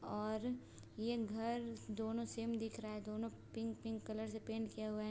और ये घर दोनों सेम दिख रहा है दोनों पिंक - पिंक कलर से पेंट किया हुआ है।